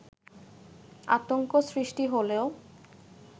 আতংক সৃষ্টি হলেও